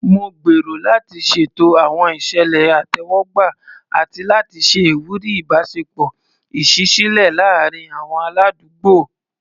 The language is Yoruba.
Mo gbèrò láti ṣètò àwọn ìṣẹ̀lẹ̀ ìtẹ́wọ́gbà àti láti ṣe ìwúrí ìbáṣepọ̀ ìṣísílẹ̀ láàárín àwọn aládùúgbò.